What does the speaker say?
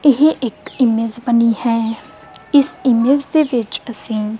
ਇਹ ਇੱਕ ਇਮੇਜ ਬਨੀ ਹੈ ਇਸ ਇਮੇਜ ਦੇ ਵਿੱਚ ਅਸੀਂ--